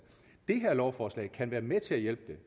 det her lovforslag kan være med til at hjælpe